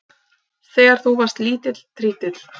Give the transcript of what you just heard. Þegar þú varst lítill trítill.